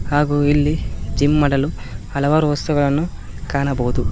ಹಾಗೂ ಇಲ್ಲಿ ಜಿಮ್ ಮಾಡಲು ಹಲವಾರು ವಸ್ತುಗಳನ್ನು ಕಾಣಬಹುದು.